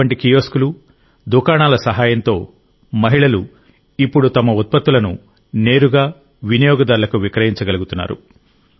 అటువంటి కియోస్క్లు దుకాణాల సహాయంతో మహిళలు ఇప్పుడు తమ ఉత్పత్తులను నేరుగా వినియోగదారులకు విక్రయించగలుగుతున్నారు